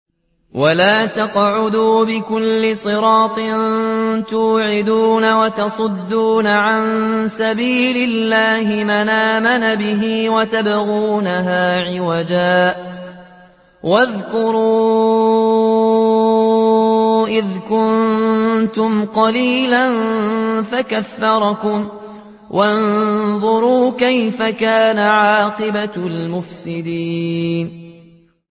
وَلَا تَقْعُدُوا بِكُلِّ صِرَاطٍ تُوعِدُونَ وَتَصُدُّونَ عَن سَبِيلِ اللَّهِ مَنْ آمَنَ بِهِ وَتَبْغُونَهَا عِوَجًا ۚ وَاذْكُرُوا إِذْ كُنتُمْ قَلِيلًا فَكَثَّرَكُمْ ۖ وَانظُرُوا كَيْفَ كَانَ عَاقِبَةُ الْمُفْسِدِينَ